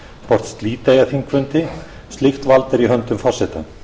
hvort slíta eigi þingfundi slíkt vald er í höndum forseta